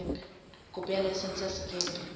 kopo ya laesense ya sekepe